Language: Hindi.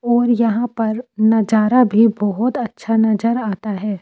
और यहां पर नजारा भी बहुत अच्छा नजर आता है।